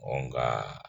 nka